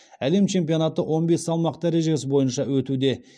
әлем чемпионаты он бес салмақ дәрежесі бойынша өтуде